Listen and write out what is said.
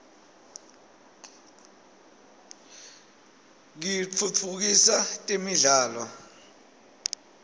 kitfutfukisa temidlalo